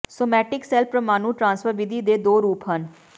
somatic cell ਪ੍ਰਮਾਣੂ transfer ਵਿਧੀ ਦੇ ਦੋ ਰੂਪ ਹਨ